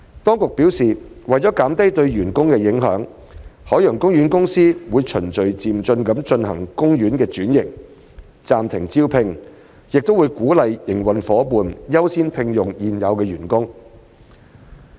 當局表示，為減低對員工的影響，海洋公園公司會循序漸進地進行海洋公園的轉型、暫停招聘，亦會鼓勵營運夥伴優先聘用現有員工。